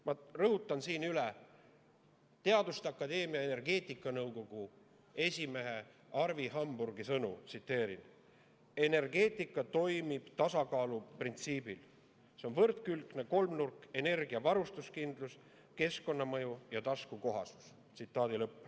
Ma rõhutan siin üle Teaduste Akadeemia energeetikanõukogu esimehe Arvi Hamburgi sõnu: "Energeetikas toimib tasakaalu printsiibil nn trilemma: võrdkülgne kolmnurk, mille külgedeks on energia varustuskindlus, keskkonnamõju ja taskukohasus.